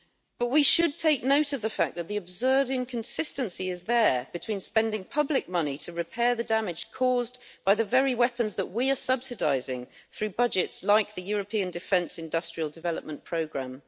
But we should take note of the fact that the absurd inconsistency is there between spending public money to repair the damage caused by the very weapons that we are subsidising through budgets like the European Defence Industrial Development Programme.